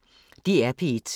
DR P1